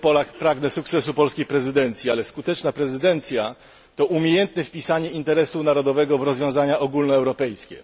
Jako Polak pragnę sukcesu polskiej prezydencji, ale skuteczna prezydencja to umiejętne wpisanie interesu narodowego w rozwiązania ogólnoeuropejskie.